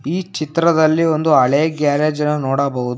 ಈ ಚಿತ್ರದಲ್ಲಿ ಒಂದು ಹಳೆ ಗ್ಯಾರೇಜ್ ನ ನೋಡಬಹುದು.